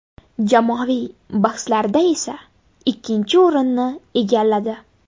Jamoaviy bahslarda esa ikkinchi o‘rinni egalladi.